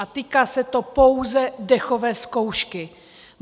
A týká se to pouze dechové zkoušky.